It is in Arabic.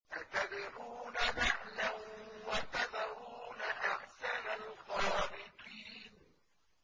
أَتَدْعُونَ بَعْلًا وَتَذَرُونَ أَحْسَنَ الْخَالِقِينَ